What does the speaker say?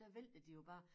Der vælter de jo bare